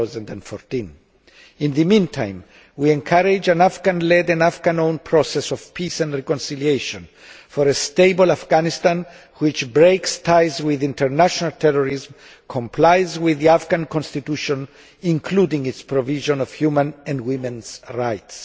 2014. In the meantime, we encourage an Afghan led and Afghan owned process of peace and reconciliation for a stable Afghanistan, which breaks ties with international terrorism, and complies with the Afghan Constitution, including its provision of human and women's rights.